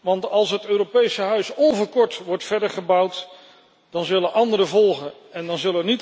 Want als het Europese huis onverkort wordt verder gebouwd, dan zullen anderen volgen en dan zullen niet alleen de Britten alleen staan.